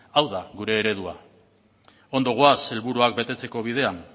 hau da gure eredua ondo goaz helburuak betetzeko bidean